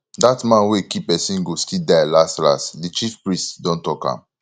that man wey kee person go still die las las the chief priest don talk am